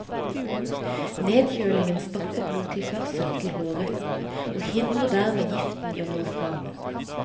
Nedkjølingen stopper blodtilførsel til hårrøttene og hindrer dermed giften i å nå frem.